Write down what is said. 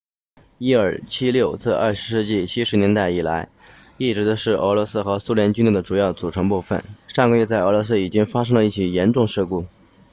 伊尔76自20世纪70年代以来一直是俄罗斯和苏联军队的主要组成部分上个月在俄罗斯已经发生过一起严重事故